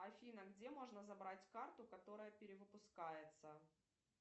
афина где можно забрать карту которая перевыпускается